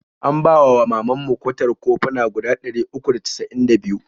An bawa wa mamanmu kwatar koffuna guda ɗari uku da cas'in da biyu.